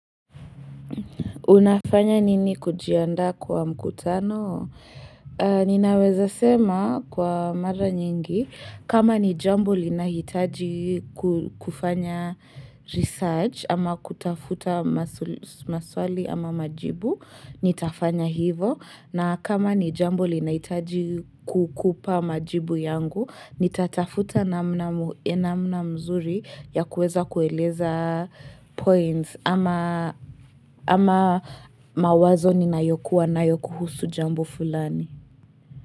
Unafanya nini kujiandaa kwa mkutano? Ninaweza sema kwa mara nyingi, kama ni jambo linahitaji kufanya research ama kutafuta maswali ama majibu, nitafanya hivo. Na kama ni jambo linahitaji kukupa majibu yangu, nitatafuta namna mzuri ya kuweza kueleza points ama mawazo ninayokuwa nayo kuhusu jambo fulani.